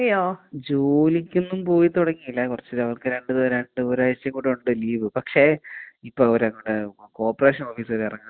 ജോലിക്കൊന്നും പോയി തൊടങ്ങീല്ലാ. കൊറച്ച് അവർക്ക് രണ്ട് രണ്ട് ഒരാഴ്ച കൂടെ ഉണ്ട് ലീവ്. പക്ഷേ ഇപ്പൊ ഇപ്പൊ അവര് അങ്ങോട്‌ കോപ്പറേഷൻ ഓഫീസ് എറങ്ങാൻ പോവാ.